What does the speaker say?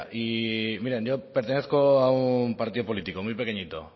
y miren yo pertenezco a un partido político muy pequeñito